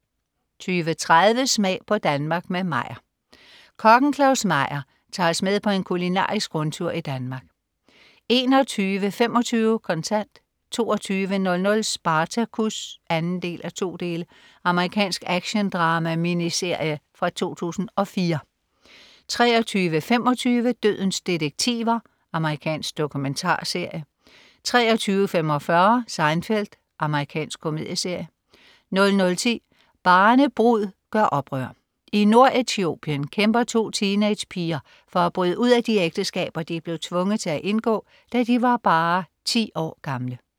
20.30 Smag på Danmark med Meyer. Kokken Claus Meyer tager os med på en kulinarisk rundtur i Danmark 21.25 Kontant 22.00 Spartacus 2:2. Amerikansk actiondrama-miniserie fra 2004 23.25 Dødens detektiver. Amerikansk dokumentarserie 23.45 Seinfeld. Amerikansk komedieserie 00.10 Barnebrud gør oprør. I Nord-Etiopien kæmper to teenagerpiger for at bryde ud af de ægteskaber, de blev tvunget til at indgå da de var bare ti år gamle